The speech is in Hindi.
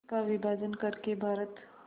का विभाजन कर के भारत